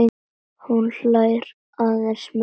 Hún hlær aðeins meira.